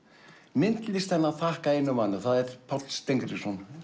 myndlistina að þakka einum manni og það er Páll Steingrímsson